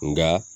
Nka